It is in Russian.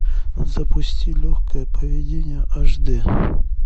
запусти легкое поведение аш д